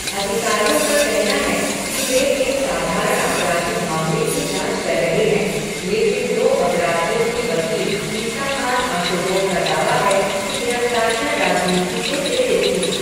अधिकारियों का कहना है कि वे एक साधारण आपराधिक मामले की जाँच कर रहे हैं, लेकिन दो 'अपराधियों' के वकील इसाख़ान आशुरोव का दावा है कि गिरफ़्तारियाँ राजनीति से प्रेरित थीं।